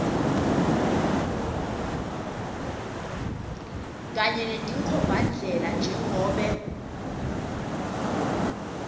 kanye netinkhombandlela njengobe